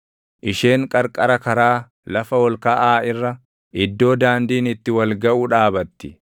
Isheen qarqara karaa, lafa ol kaʼaa irra, iddoo daandiin itti wal gaʼu dhaabatti;